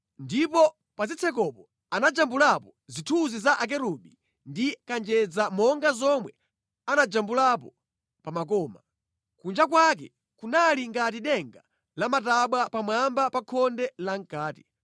Ndipo pa zitsekopo anajambulipo zithunzi za akerubi ndi kanjedza monga zomwe anajambulapo pa makoma. Kunja kwake kunali ngati denga lamatabwa pamwamba pa khonde lamʼkati.